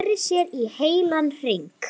Sneri sér í heilan hring.